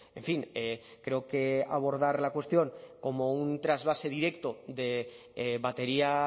en fin creo que abordar la cuestión como un trasvase directo de batería